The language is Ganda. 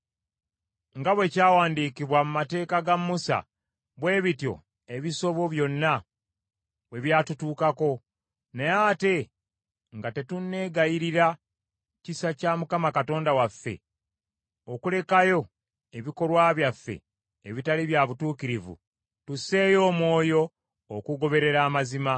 Nga bwe kyawandiikibwa mu mateeka ga Musa, bwe bityo ebisobyo byonna bwe byatutuukako, naye ate nga tetunneegayirira kisa kya Mukama Katonda waffe, okulekayo ebikolwa byaffe ebitali bya butuukirivu tusseeyo omwoyo okugoberera amazima.